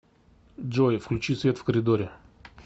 джой включи свет в коридоре